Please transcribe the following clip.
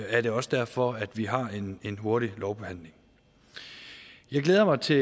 er det også derfor at vi har en hurtig lovbehandling jeg glæder mig til